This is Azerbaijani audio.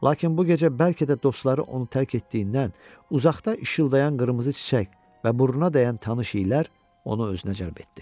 Lakin bu gecə bəlkə də dostları onu tərk etdiyindən uzaqda işıldayan qırmızı çiçək və burnuna dəyən tanış yeylər onu özünə cəlb etdi.